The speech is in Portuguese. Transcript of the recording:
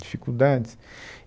Dificuldades.